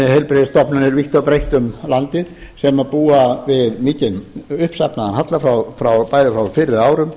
heilbrigðisstofnanir vítt og breitt um landið sem búa við mikinn uppsafnaðan halla bæði frá fyrri árum